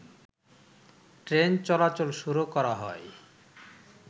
train চলাচল শুরু করা হয়